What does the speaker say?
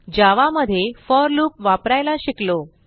जावा मध्ये for loop वापरायला शिकलो